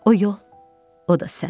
O yol, o da sən.